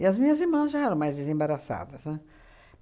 as minhas irmãs já eram mais desembaraçadas, né?